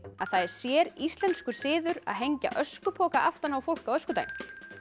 að það er séríslenskur siður að hengja öskupoka aftan á fólk á öskudaginn